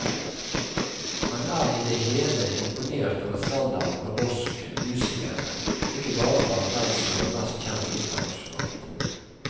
Han er i det hele imponert over standarden på norsk musikere, ikke bare blant dem som er mest kjent internasjonalt.